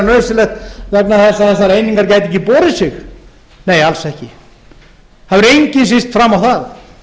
nauðsynlegt vegna þess að þessar einingar geti ekki borið sig nei alls ekki það hefur enginn sýnt fram á það